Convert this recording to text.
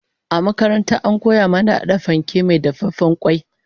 A makaranta an koya mana hada fanke mai dafaffen kwai